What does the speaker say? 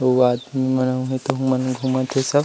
अउ आदमी मन उहे तो उहा घुमत हे सब--